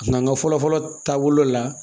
An ka fɔlɔ fɔlɔ taabolo la